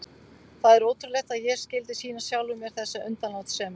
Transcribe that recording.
Það er ótrúlegt að ég skyldi sýna sjálfum mér þessa undanlátssemi.